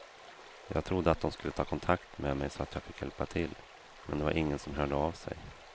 Jag trodde att de skulle ta kontakt med mig så jag fick hjälpa till, men det var ingen som hörde av sig.